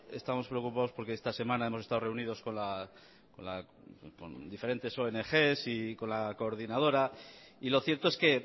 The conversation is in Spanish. estamos preocupados porque esta semana hemos estado reunidos con diferentes ongs y con la coordinadora y lo cierto es que